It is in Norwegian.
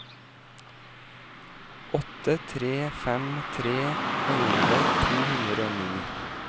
åtte tre fem tre elleve to hundre og ni